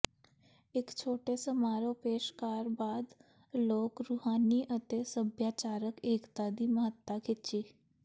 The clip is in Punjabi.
ਇੱਕ ਛੋਟੇ ਸਮਾਰੋਹ ਪੇਸ਼ਕਾਰ ਬਾਅਦ ਲੋਕ ਰੂਹਾਨੀ ਅਤੇ ਸੱਭਿਆਚਾਰਕ ਏਕਤਾ ਦੀ ਮਹੱਤਤਾ ਖਿੱਚੀ